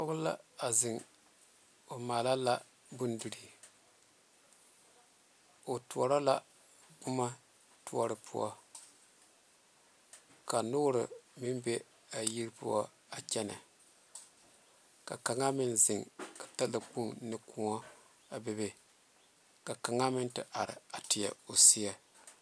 Pɔge la zeŋe a mala la bondirii o tuoro la boma tuoro poɔ ka noore meŋ be a yiri poɔ a kyɛne ka kaŋe meŋ zeɛ talakpoŋ ne kõɔ ka kaŋe meŋ te are teɛ o seɛ.